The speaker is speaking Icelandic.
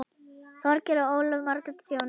Þorgeir og Ólöf Margrét þjóna.